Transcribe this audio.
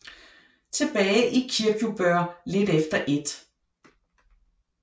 Tilbage i Kirkjubøur lidt efter 1